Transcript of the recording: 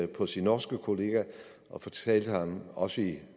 på sin norske kollega og fortalte ham også i